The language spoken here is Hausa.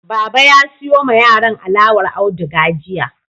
Baba ya siyo ma yaran alawar auduga jiya.